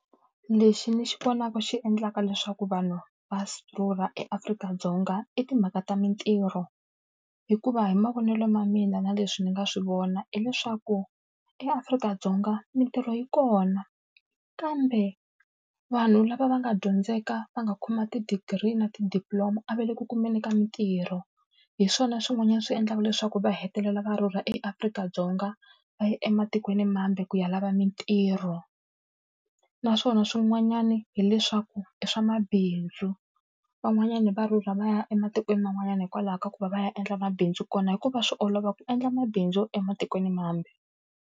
Lexi ni xi vonaka xi endlaka leswaku vanhu va rhurha eAfrika-Dzonga i timhaka ta mintirho. Hikuva hi mavonelo ma mina na leswi ni nga swi vona hileswaku eAfrika-Dzonga mintirho yi kona, kambe vanhu lava va nga dyondzeka, va nga khoma ti-degree na ti-diploma a va le ku kumeni ka mitirho. Hi swona swin'wanyana swi endlaka leswaku va hetelela va rhurha eAfrika-Dzonga va ya ematikweni mambe ku ya lava mintirho. Naswona swin'wanyani hileswaku i swa mabindzu. Van'wanyani va rhurha va ya ematikweni man'wanyana hikwalaho ka ku va va ya endla mabindzu kona hikuva swi olova ku endla mabindzu ematikweni mambe.